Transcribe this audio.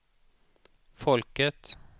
folket